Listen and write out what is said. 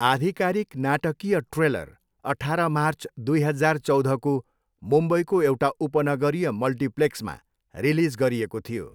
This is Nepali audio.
आधिकारिक नाटकीय ट्रेलर अठाह्र मार्च, दुई हजार चौधको मुम्बईको एउटा उपनगरीय मल्टिप्लेक्समा रिलिज गरिएको थियो।